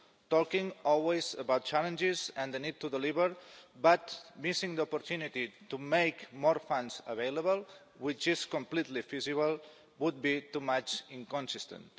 Talking always about challenges and the need to deliver, but missing the opportunity to make more funds available, which is completely feasible, would be much too inconsistent.